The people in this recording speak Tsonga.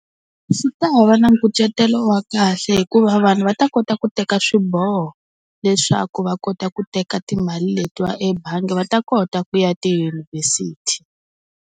Swi ta va na nkucetelo wa kahle hikuva vanhu va ta kota ku teka swiboho, leswaku va kota ku teka timali letiya ebangi va ta kota ku ya tidyunivhesiti.